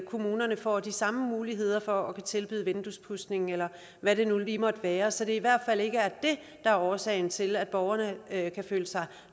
kommunerne får de samme muligheder for at kunne tilbyde vinduespudsning eller hvad det nu lige måtte være så det i hvert fald ikke er det er årsagen til at borgerne kan føle sig